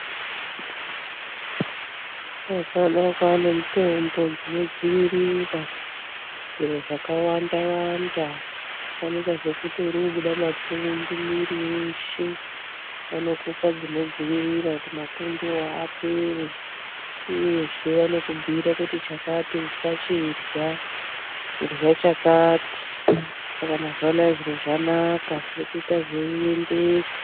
Mazuvaanaya, kwave nemitombo inodzivirira zviro zvakawanda wanda, sanika sekuti urikubuda mapundu muiri weshe, vanokupa zvinodzivirira kuti mapundu iwawo apere, uyezve vanokubhuyira kuti chakati usachidya, idya chakati. Mazuva anaya zvinhu zvanaka zvirikuita zviendeka.